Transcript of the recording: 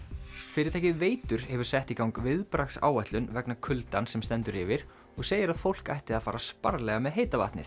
fyrirtækið Veitur hefur sett í gang viðbragðsáætlun vegna kuldans sem stendur yfir og segir að fólk ætti að fara sparlega með heita vatnið